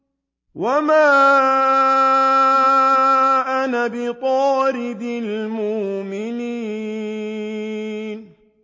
وَمَا أَنَا بِطَارِدِ الْمُؤْمِنِينَ